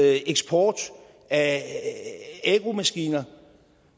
eksport af agromaskiner